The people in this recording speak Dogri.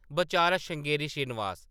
बचारा श्रृंगेरी श्रीनिवास ।